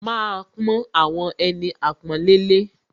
Màá pọ́n àwọn ẹni àpọ́nlé lé